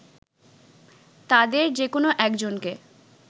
তাদের যেকোনো একজনকে